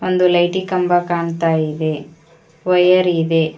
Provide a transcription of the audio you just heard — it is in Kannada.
ಒಂದು ಲೈಟಿ ಕಂಬ ಕಾಣ್ತಾ ಇದೆ ಒಂದು ವಯರ್ ಇದೆ.